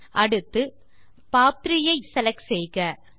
அடுத்து செலக்ட் செய்க பாப்3